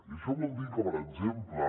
i això vol dir que per exemple